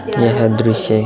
यह दृश्य --